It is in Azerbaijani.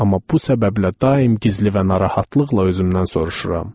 Amma bu səbəblə daim gizli və narahatlıqla özümdən soruşuram.